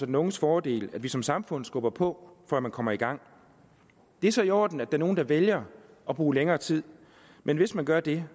den unges fordel at vi som samfund skubber på for at man kommer i gang det er så i orden at der er nogle der vælger at bruge længere tid men hvis man gør det